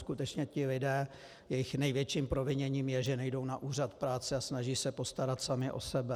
Skutečně ti lidé, jejich největším proviněním je, že nejdou na úřad práce a snaží se postarat sami o sebe.